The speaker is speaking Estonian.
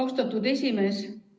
Austatud esimees!